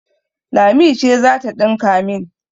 Lami ce za ta ɗinka min.